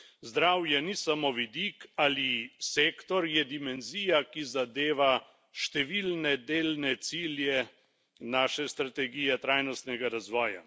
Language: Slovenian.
Zdravje ni samo vidik ali sektor, je dimenzija, ki zadeva številne delne cilje naše strategije trajnostnega razvoja.